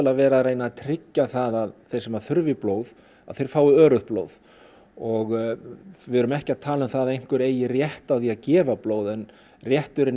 verið að tryggja það að þeir sem að þurfa blóð að þeir fái öruggt blóð og við erum ekki að tala um það að einhver eigi rétt á því að gefa blóð en rétturinn